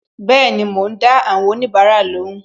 Bẹẹni, mo ń dá àwọn onibara lóhùn